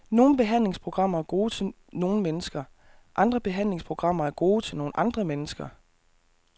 Nogle behandlingsprogrammer er gode til nogle mennesker, andre behandlingsprogrammer er gode til nogle andre mennesker.